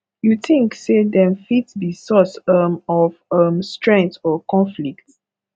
you think say dem fit be source um of um strength or conflict